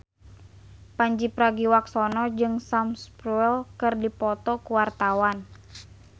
Pandji Pragiwaksono jeung Sam Spruell keur dipoto ku wartawan